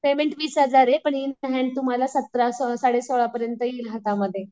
Payment वीस हजार आहे पण इन हॅन्ड तुम्हाला सतरा साडे सोळा पर्यंत येईल हातामध्ये.